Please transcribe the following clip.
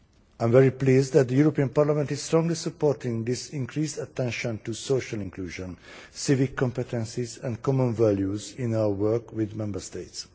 I am very pleased that the European Parliament is strongly supporting this increased attention to social inclusion, civic competences and common values in our work with Member States.